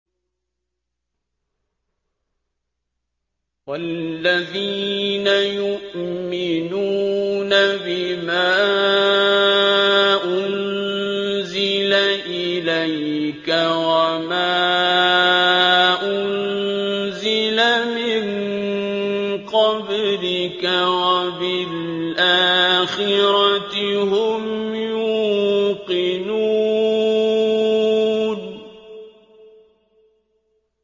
وَالَّذِينَ يُؤْمِنُونَ بِمَا أُنزِلَ إِلَيْكَ وَمَا أُنزِلَ مِن قَبْلِكَ وَبِالْآخِرَةِ هُمْ يُوقِنُونَ